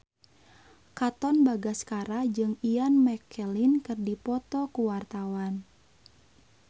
Katon Bagaskara jeung Ian McKellen keur dipoto ku wartawan